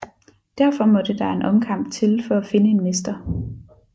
Derfor måtte der en omkamp til for at finde en mester